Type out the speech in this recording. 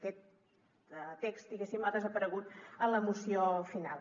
aquest text diguéssim ha desaparegut en la moció final